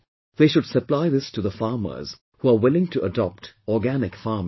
They should supply this to the farmers who are willing to adopt organic farming